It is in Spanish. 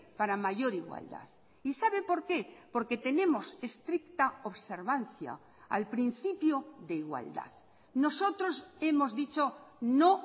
para mayor igualdad y sabe por qué porque tenemos estricta observancia al principio de igualdad nosotros hemos dicho no